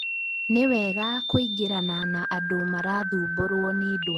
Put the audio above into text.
Nĩ wega kũingĩrana na andũ marathumbũrwo nĩ ndwari ĩno